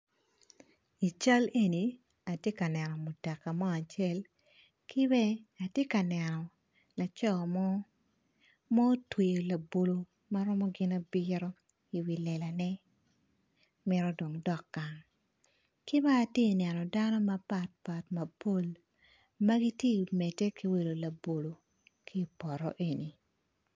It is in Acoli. i cal eni atye ka eno mutoka mo acel ki bene atye ka neno mutoka mo acel ma otweyo labolo ma romo gin abiro i wi lelane mito dok gang ki bene atye ka neno dano mapol ma gitye ka medde ki wilo labolo ki i poto eni